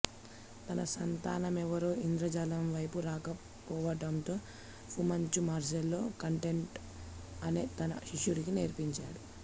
తన సంతానమెవరూ ఇంద్రజాలం వైపు రాకపోవటంతో ఫు మంచు మార్సెలో కాంటెంటో అనే తన శిష్యుడికి నేర్పించాడు